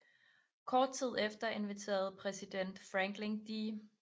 Kort tid efter inviterede præsident Franklin D